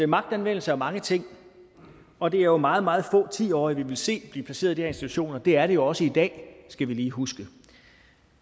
magtanvendelse er mange ting og det er jo meget meget få ti årige vi vil se blive placeret i de institutioner det er det jo også i dag skal vi lige huske